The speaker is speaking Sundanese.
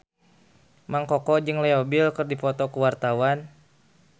Mang Koko jeung Leo Bill keur dipoto ku wartawan